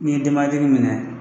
N'i ye denba minɛ